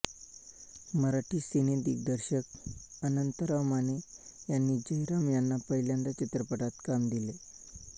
मराठी सिनेदिग्दर्शक अनंतराव माने यांनी जयराम यांना पहिल्यांदा चित्रपटात काम दिले